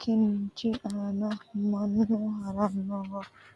kinchi aana mannu haranno goodora mayra duunnoonni ? Daddalu bayicho kaamelu mayra uurrino ?